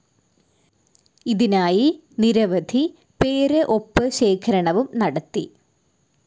ഇതിനായി നിരവധി പേര് ഒപ്പ് ശേഖരണവും നടത്തി.